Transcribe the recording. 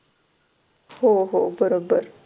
हो हो बरोबर.